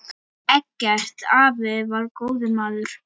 Eggert afi var góður maður.